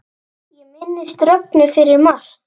Ég minnist Rögnu fyrir margt.